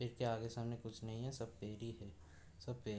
इसके आगे सामने कुछ नहीं है। सब पेड़ ही है। सब पेड़ --